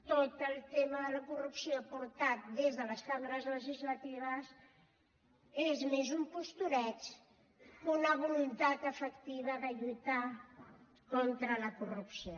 tot el tema de la corrupció portat des de les cambres legislatives és més un postureig que una voluntat efectiva de lluitar contra la corrupció